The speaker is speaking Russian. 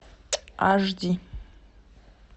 аш ди